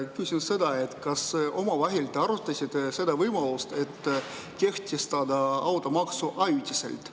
Küsin seda, kas te olete omavahel arutanud ka seda võimalust, et kehtestada automaks ajutiselt.